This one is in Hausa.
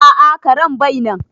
A'a karen bai nan